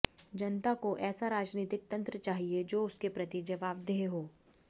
जनता को ऐसा राजनीतिक तंत्र चाहिए जो उसके प्रति जवाबदेह हो